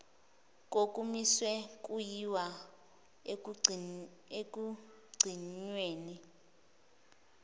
kokumisiwe kuyiwa ekugcinweni